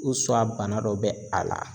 bana dɔ bɛ a la.